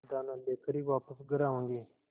दाना लेकर ही वापस घर आऊँगी